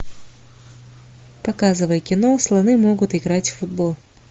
показывай кино слоны могут играть в футбол